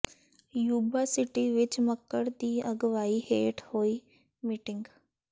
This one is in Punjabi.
ਯੂਬਾ ਸਿਟੀ ਵਿੱਚ ਮੱਕੜ ਦੀ ਅਗਵਾਈ ਹੇਠ ਹੋਈ ਮੀਟਿੰਗ